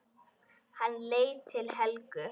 Hann leit til Helgu.